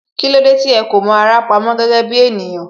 Kílódé tí ó kò mọ ara pamó gẹ́gẹ́ bí ènìyàn